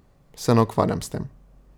Se ne ukvarjam s tem.